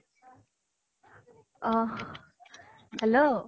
অ hello